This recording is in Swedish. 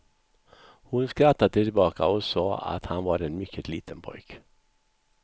Hon skrattade tillbaka och sade att han var en mycket liten pojke.